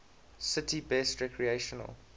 city's best recreational